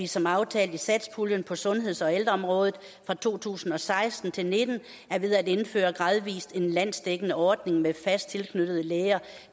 som aftalt i satspuljen på sundheds og ældreområdet for to tusind og seksten til nitten er ved at indføre en landsdækkende ordning med fast tilknyttede læger